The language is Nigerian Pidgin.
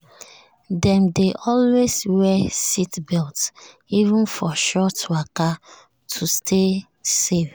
dem dey always wear seatbelt even for short waka to stay safe.